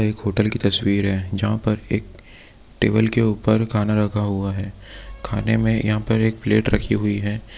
एक होटल की तस्वीर हैं जहाँ पर एक टेबल के ऊपर खाना रखा हुआ है खाने में यहाँ पर एक प्लेट रखी हुई है।